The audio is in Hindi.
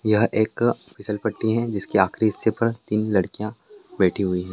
यह एक फिसलपट्टी हैं जिसके आखरी हिस्से पर तीन लड़कियां बैठी हुई है।